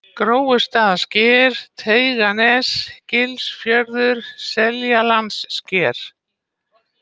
Gróustaðasker, Teiganes, Gilsfjörður, Seljalandssker